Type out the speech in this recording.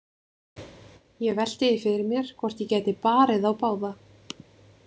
Ég velti því fyrir mér hvort ég gæti barið þá báða.